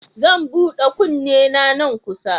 Zan huda kunnena nan kusa.